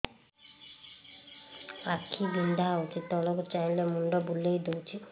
ଆଖି ବିନ୍ଧା ହଉଚି ତଳକୁ ଚାହିଁଲେ ମୁଣ୍ଡ ବୁଲେଇ ଦଉଛି